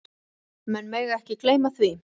Menn mega ekki gleyma því.